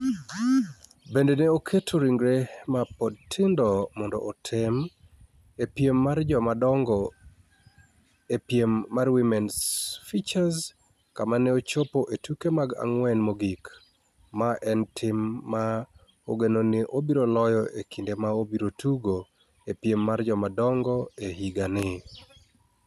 Bende ne oketo ringre ma pod tindo mondo otem e piem mar joma dongo e piem mar Women's Futures kama ne ochopo e tuke mag ang'wen mogik, ma en tim ma ogeno ni obiro loyo e kinde ma obiro tugo e piem mar joma dongo e higani.